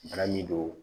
Bana min don